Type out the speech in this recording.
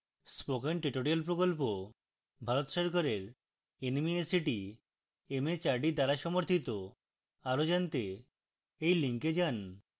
spoken tutorial প্রকল্প ভারত সরকারের nmeict mhrd দ্বারা সমর্থিত আরো জনাতে এই লিঙ্কে যান